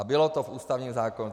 A bylo to v ústavním zákonu.